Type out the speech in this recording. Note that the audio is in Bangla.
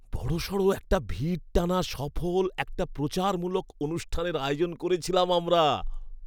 বড়সড় একটা ভিড় টানা সফল একটা প্রচারমূলক অনুষ্ঠানের আয়োজন করেছিলাম আমরা।